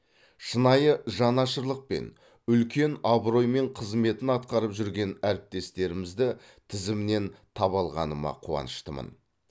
шынайы жанашырлықпен үлкен абыроймен қызметін атқарып жүрген әріптестерімізді тізімнен таба алғаныма қуаныштымын